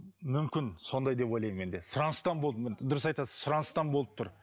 мүмкін сондай деп ойлаймын мен де сұраныстан болды дұрыс айтасыз сұраныстан болып тұр